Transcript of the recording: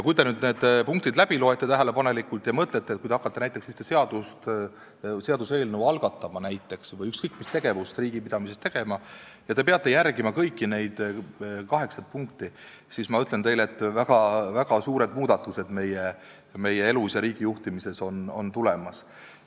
Kui te need punktid tähelepanelikult läbi loete ja mõtlete, et kui te hakkate näiteks seaduseelnõu algatama või ükskõik mida riigipidamises tegema ja peate järgima kõiki neid kaheksat punkti, siis ma ütlen teile, et meie elus ja riigijuhtimises on väga suured muudatused tulemas.